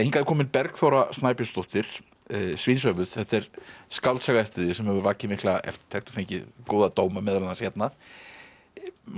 er komin Bergþóra Snæbjörnsdóttir þetta er skáldsaga eftir þig sem hefur vakið mikla eftirtekt og fengið góða dóma meðal annars hérna má ég